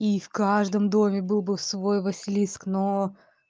и в каждом доме был бы в свой василиск но